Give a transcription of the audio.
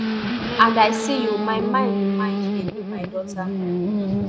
and i see you my mind mind dey go my daughter